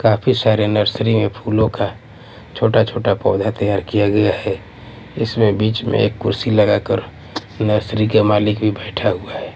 काफी सारे नर्सरी में फूलों का छोटा-छोटा पौधा तैयार किया गया है इसमें बीच में एक कुर्सी लगाकर नर्सरी का मालिक भी बैठा हुआ है।